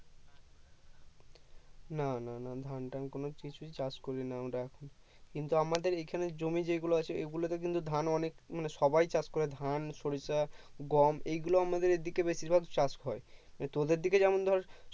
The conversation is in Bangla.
না না না ধান টান কোনো কিছুই চাষ করিনা আমরা কিন্তু আমাদের এখানে জমি যেই গুলো আছে এগুলোতে কিন্তু ধান অনেক মানে সবাই চাষ করে ধান সরিষা গম এগুলো আমাদের এদিকে বেশির ভাগ চাষ হয় তোদের দিকে যেমন ধর